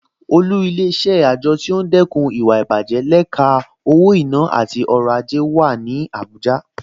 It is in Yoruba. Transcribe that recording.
Olú Ilé-iṣẹ́ àjọ tó ń dẹ́kun ìwà ìbàjẹ́ lẹ́ka owó-ìná àti ọrọ̀ ajé wà ní Abuja